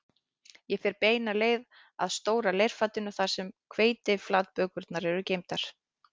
Ég fer beina leið að stóra leirfatinu þar sem hveitiflatbökurnar eru geymdar